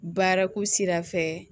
Baarako sira fɛ